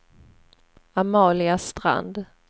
Amalia Strand